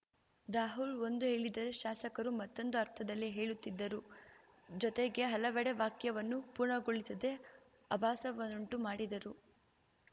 ರಾಹುಲ್‌ ಒಂದು ಹೇಳಿದರೆ ಶಾಸಕರು ಮತ್ತೊಂದು ಅರ್ಥದಲ್ಲಿ ಹೇಳುತ್ತಿದ್ದರು ಜೊತೆಗೆ ಹಲವೆಡೆ ವಾಕ್ಯವನ್ನು ಪೂರ್ಣಗೊಳಿಸದೆ ಅಭಾಸವನ್ನುಂಟು ಮಾಡಿದರು